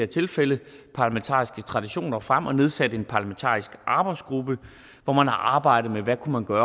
tilfælde parlamentariske traditioner frem og nedsat en parlamentarisk arbejdsgruppe hvor man har arbejdet med hvad man kunne